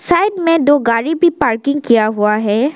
Side में दो गाड़ी भी पार्किंग किया हुआ है।